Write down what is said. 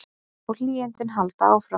Og hlýindin halda áfram.